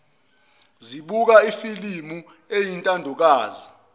zibuka ifilimu eyintandokazi